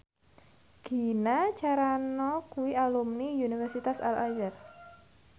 Gina Carano kuwi alumni Universitas Al Azhar